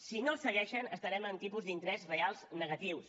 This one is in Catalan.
si no el segueixen estarem amb tipus d’interès reals negatius